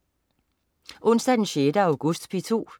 Onsdag den 6. august - P2: